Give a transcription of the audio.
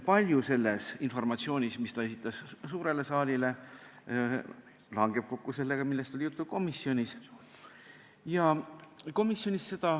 Palju sellest informatsioonist, mis ta esitas suurele saalile, langeb kokku sellega, millest oli juttu komisjonis.